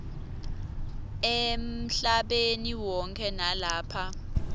emhlabeni wonkhe nalapha